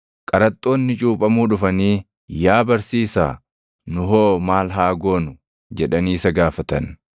Qaraxxoonni cuuphamuu dhufanii, “Yaa barsiisaa, nu hoo maal haa goonu?” jedhanii isa gaafatan.